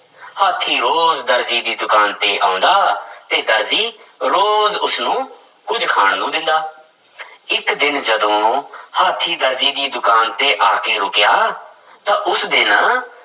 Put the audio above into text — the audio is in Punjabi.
ਹਾਥੀ ਰੋਜ਼ ਦਰਜੀ ਦੀ ਦੁਕਾਨ ਤੇ ਆਉਂਦਾ ਤੇ ਦਰਜੀ ਰੋਜ਼ ਉਸਨੂੰ ਕੁੱਝ ਖਾਣ ਨੂੰ ਦਿੰਦਾ ਇੱਕ ਦਿਨ ਜਦੋਂ ਹਾਥੀਂ ਦਰਜੀ ਦੀ ਦੁਕਾਨ ਤੇ ਆ ਕੇ ਰੁੱਕਿਆ ਤਾਂ ਉਸ ਦਿਨ